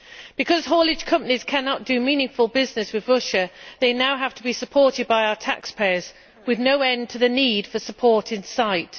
Because haulage companies cannot do meaningful business with Russia they now have to be supported by our taxpayers, with no end to the need for support in sight.